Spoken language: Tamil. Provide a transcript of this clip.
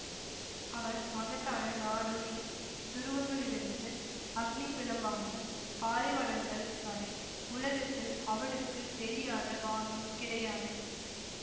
அவன் மகத்தான நாடோ டி துருவங்களிலிருந்து அக்னிப் பிழம்பான பாலைவனங்கள் வரை உலகத்தில் அவனுக்கு தெரியாத பாகம் கிடையாது